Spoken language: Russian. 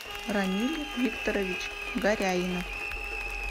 рамиль викторович горяйнов